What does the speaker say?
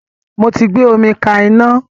Mo tí gbé omi ká iná